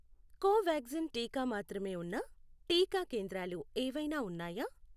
కోవాక్సిన్ టీకా మాత్రమే ఉన్న టీకా కేంద్రాలు ఏవైనా ఉన్నాయా?